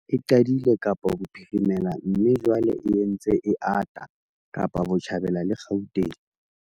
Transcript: E qadile Kapa Bophirimela mme jwale e ntse e ata Kapa Botjhabela le Gauteng.